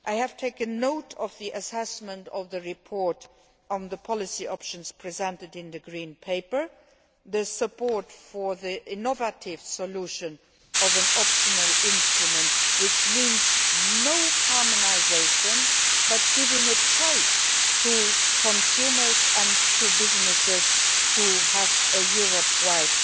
I have taken note of the assessment of the report on the policy options presented in the Green Paper and the support for the innovative solution of an optional instrument, which means no harmonisation but giving consumers and businesses a choice of having a Europe